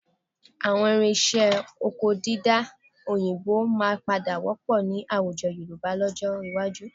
Àwọn irinṣẹ́ oko dídá òyìnbó máa padà wọ́pọ̀ ní àwùjọ Yorùbá lọ́jọ́ iwájú